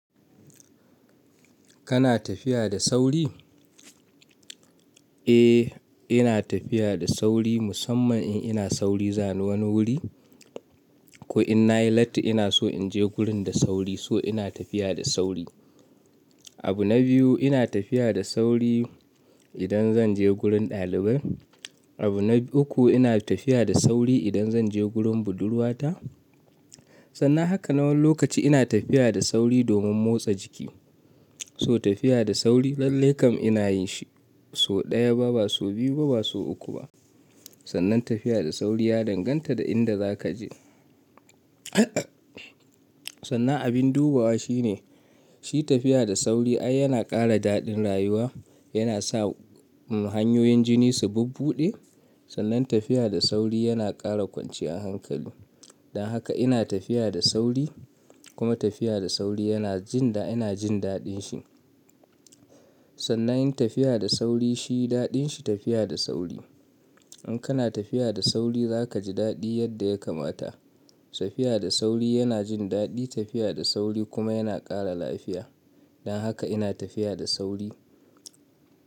Kana tafiya da sauri? Eh, ina tafiya da sauri musamman in ina sauri zani wani wuri. Ko in nayi latti ina so in je gurin da sauri, so ina tafiya da sauri. Abu na biyu ina tafiya da sauri idan zan je gurin ɗalibai. Abu na uku ina tafiya da sauri idan zan je gurin budurwata. Sannan hakanan wani lokaci ina tafiya da sauri domin motsa jiki. So tafiya da sauri lallai kam ina yin shi. So ɗaya ba, ba so biyu ba, ba so uku ba. Sannan tafiya da sauri ya danganta da inda za ka je. Sannan abin dubawa shi ne, shi tafiya da sauri ai yana ƙara daɗin rayuwa, yana sa hanyoyin jini su bubbuɗe. Sannan tafiya da sauri yana ƙara kwanciyar hankali. Dan haka ina tafiya da sauri kuma tafiya da sauri yana jin da ina jin daɗin shi. Sannan yin tafiya da sauri shi daɗin shi tafiya da sauri. In kana tafiya da sauri za ka ji daɗi yadda ya kamata. Tafiya da sauri yana jin daɗi, tafiya da sauri kuma yana ƙara lafiya. Dan haka ina tafiya da sauri.